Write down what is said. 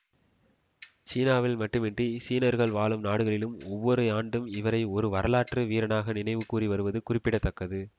சீனாவில் மட்டுமன்றி சீனர்கள் வாழும் நாடுகளிலும் ஒவ்வொரு ஆண்டும் இவரை ஒரு வரலாற்று வீரனாக நினைவுக்கூறி வருவது குறிப்பிட தக்கது